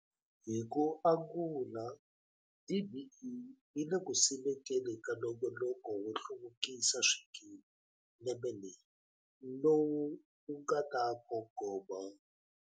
Hi ku angula, DBE yi le ku simekeni ka nongonoko wo hluvukisa swikili lembe leri lowu wu nga ta kongoma.